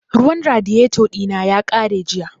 Ruwan radiyeto ɗina ya ƙare jiya